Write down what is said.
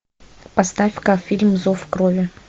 поставь ка фильм зов крови